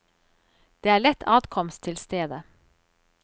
Det er lett adkomst til stedet.